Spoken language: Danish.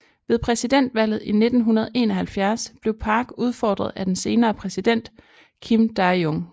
Ved præsidentvalget i 1971 blev Park udfordret af den senere præsident Kim Dae Jung